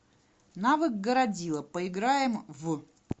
навык городило поиграем в